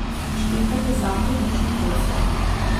Štekate zakon jušne kocke?